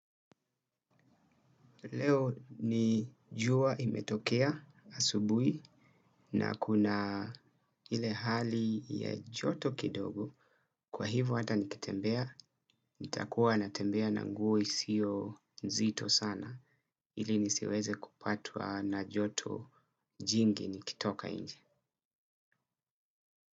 Leo ni jua imetokea asubuhi na kuna ile hali ya joto kidogo kwa hivyo hata nikitembea nitakuwa natembea na nguo isiyo nzito sana ili nisiweze kupatwa na joto jingi nikitoka nje.